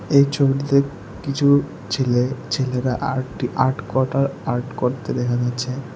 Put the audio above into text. এই ছবিটিতে কিছু ছেলে ছেলেরা আর্ট আর্ট কটা আর্ট করতে দেখা যাচ্ছে।